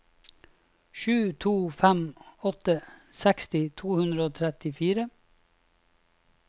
sju to fem åtte seksti to hundre og trettifire